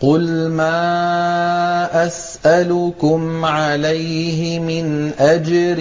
قُلْ مَا أَسْأَلُكُمْ عَلَيْهِ مِنْ أَجْرٍ